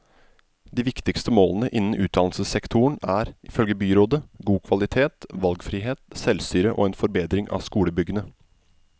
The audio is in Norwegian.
De viktigste målene innen utdannelsessektoren er, ifølge byrådet, god kvalitet, valgfrihet, selvstyre og en forbedring av skolebyggene.